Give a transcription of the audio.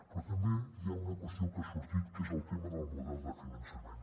però també hi ha una qüestió que ha sortit que és el tema del model de finançament